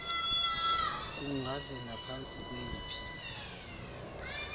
kungaze naphantsi kweyiphi